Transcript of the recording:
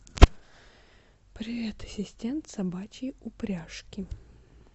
привет ассистент собачьи упряжки